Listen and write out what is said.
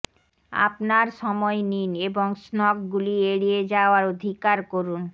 আপনার সময় নিন এবং স্নগগুলি এড়িয়ে যাওয়ার অধিকার করুন